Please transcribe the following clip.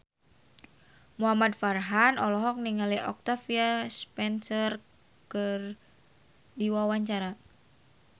Muhamad Farhan olohok ningali Octavia Spencer keur diwawancara